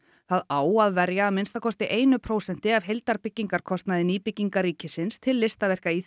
það á að verja að minnsta kosti einu prósenti af heildarbyggingarkostnaði nýbygginga ríkisins til listaverka í